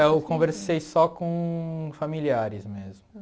Eu conversei só com familiares mesmo.